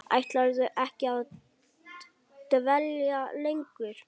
Ætlarðu ekki að dvelja lengur?